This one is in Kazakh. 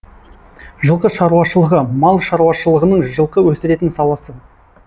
жылқы шаруашылығы мал шаруашылығының жылқы өсіретін саласы